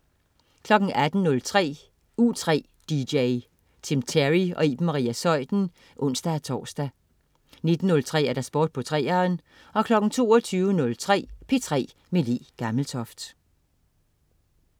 18.03 U3 dj. Tim Terry og Iben Maria Zeuthen (ons-tors) 19.03 Sport på 3'eren 22.03 P3 med Le Gammeltoft